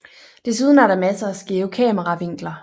Desuden er der masser af skæve kameravinkler